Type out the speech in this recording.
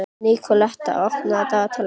Nikoletta, opnaðu dagatalið mitt.